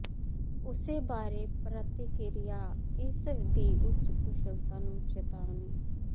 ਉਸ ਬਾਰੇ ਪ੍ਰਤਿਕਿਰਿਆ ਇਸ ਦੀ ਉੱਚ ਕੁਸ਼ਲਤਾ ਨੂੰ ਚਿਤਾਵਨੀ